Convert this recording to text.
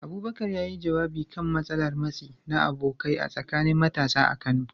Abubakar, ya yi jawabi kan matsalar matsi na abokai a tsakanin matasa a Kano